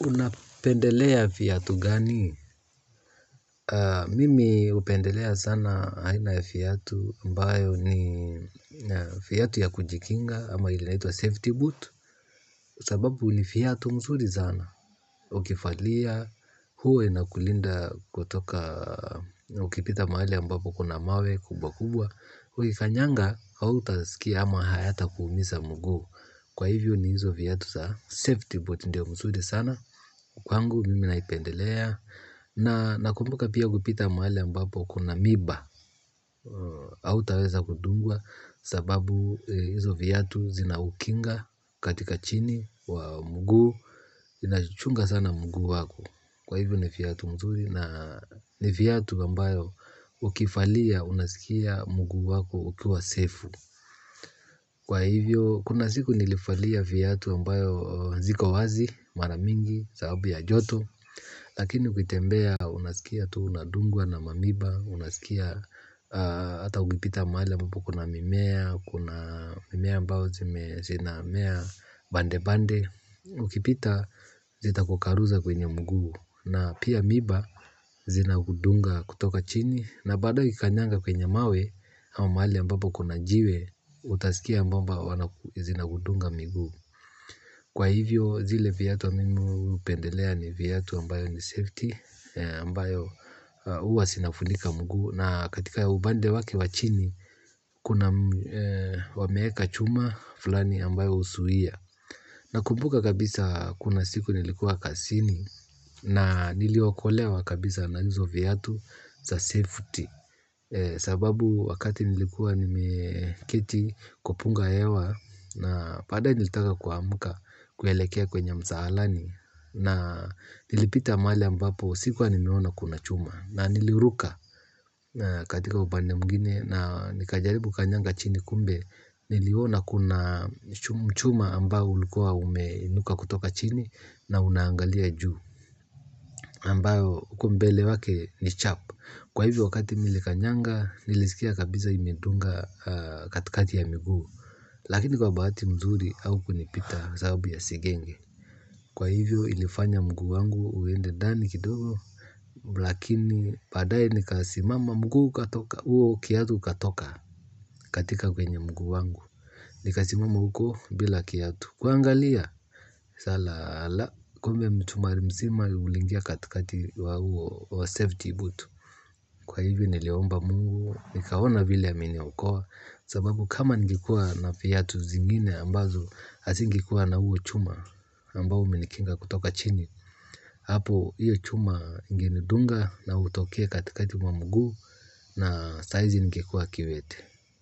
Unapendelea viatu gani? Mimi hupendelea sana aina viatu ambayo ni viatu ya kujikinga ama inaitwa safety boot sababu ni viatu vizuri sana. Ukivalia, huwa inakulinda kutoka, ukipita mahali ambapo kuna mawe kubwa kubwa. Ukikanyaga, hauta sikia ama hayata kuumiza mguu. Kwa hivyo ni hizo viatu za safety boot ndio vizuri sana. Kwangu mimi naipendelea. Na nakumbuka pia kupita mahali ambapo kuna miiba hautaweza kudungwa. Sababu hizo viatu zina kukinga katika chini ya mguu. Zina chunga sana mguu wako. Kwa hivyo ni viatu mzuri. Na ni viatu ambayo ukivalia unasikia mguu wako ukiwa sefu. Kwa hivyo kuna siku nilivalia viatu ambayo ziko wazi mara mingi sababu ya joto lakini ukitembea unasikia tuu unadungwa na miiba unasikia hata ukipita mahali ambapo kuna mimea kuna mimea ambayo zinamea pande pande ukipita zita kukwaruza kwenye miguu. Na pia miiba zina kudunga kutoka chini. Na baadae ukikanyanga kwenye mawe au mahali ambapo kuna jiwe. Utasikia mbao zina kudunga miguu. Kwa hivyo zile viatu huwa mimi hupendelea ni viatu ambayo ni safety, ambayo huwa zinafunika mguu na katika upande wake wa chini kuna wameweka chuma fulani ambayo uzuia. Na kumbuka kabisa kuna siku nilikuwa kasini na niliokolewa kabisa najuzo viyatu za safety. Sababu wakati nilikuwa nimeketi kwa punga hewa. Na padae nilitaka kwa muka kwelekea kwenye msaalani. Na nilipita maali ambapo sikuwa niniwona kuna chuma. Na niliruka katika upande mwingine na nilijaribu kanygaga chini kumbe niku kuna chuma ambao ulikuwa umeinuka kutoka chini na unaangalia juu ambayo uku mbele wake ni chap. Kwa hivyo wakati milikanyanga nilisikia kabiza imendunga katikati ya mguu. Lakini kwa baati mzuri au kunipita sababu ya sigenge. Kwa hivyo ilifanya mguu wangu uende dani kidoro. Lakini padaye nikasimama mguu katoka uo kiatu katoka katika kwenye mguu wangu. Nikasimama uko bila kiatu. Kuangalia salala kumbe mchumari mzima ulingia katikati wa huo safety boot. Kwa hivyo niliomba mungu, nikaona vile ya miniokoa. Sababu kama angekua na piyatu zingine ambazo asingikuwa na uo chuma ambao minikinga kutoka chini. Hapo hiyo chuma ngini dunga na utoke katikati wa mguu. Na saizi ningekua kiwete.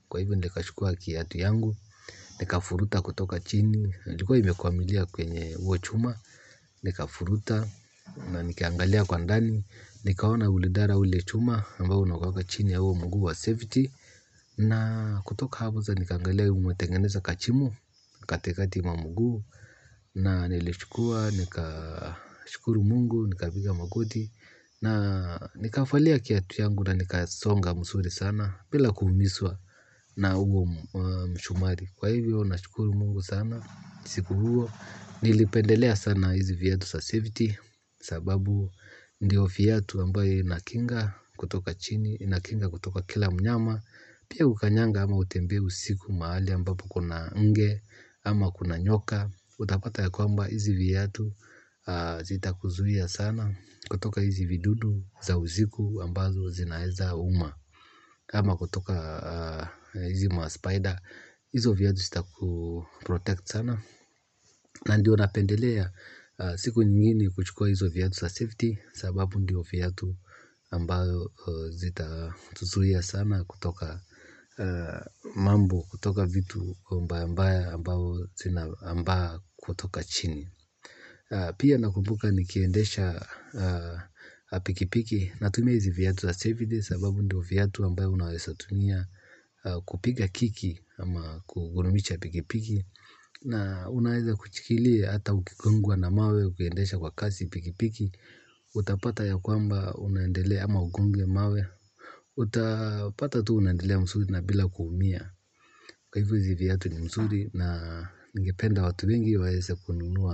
Kwa hivyo nikachukua kiatu yangu nikafuruta kutoka chini ilikuwa imekwamilia kwenye huo chuma nika furuta na nikaangalia kwa ndani. Nikaona ulidara ule chuma. Mbao unakuaga chini ya uo muguu wa safety. Na kutoka habo za nikaangalia umetengeneza kachimo. Katekati mwa muguu na nilichukua. Nika shukuru mungu. Nikapiga magoti. Na nika falia kiatu yangu. Na nika songa msuri sana. Bila kumiswa na huo mshumari. Kwa hivyo na shukuru mungu sana. Siku huo nilipendelea sana hizi viatu sa safety. Sababu ndiyo fiyatu mbayo na kinga. Kutoka chini inakinga kutoka kila mnyama. Pia ukanyanga ama utembe usiku maali ambapo kuna nge. Ama kuna nyoka. Utapata ya kwamba hizi viatu zita kuzuhia sana. Kutoka hizi vidudu za uziku ambazo zinaeza uma ama kutoka hizi maspider hizo viyatu sita ku protect sana na ndio napendelea siku nyinginbe kuchukuwa hizo viatu sa safety sababu ndio fiatu ambayo zita tuzuhia sana kutoka mambo, kutoka vitu ambayo ambayo zina ambayo kutoka chini. Pia nakumbuka ni kiendesha pikipiki natumia hisi viatu ya safety sababu ndio viatu ambayo unaesa tumia kupiga kiki ama kugurumicha apikipiki. Na unaheza kuchikilia ata ukikungwa na mawe, ukiendesha kwa kasi pikipiki. Utapata ya kwamba unaendelea ama ugonge mawe. Utapata tu unaendelea msuri na bila kuumia kwa hivyo hizi viatu ni mzuri na ningependa watu wengi waese kununua.